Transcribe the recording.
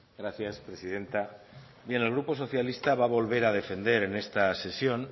gracias presidenta bien el grupo socialista va a volver a defender en esta sesión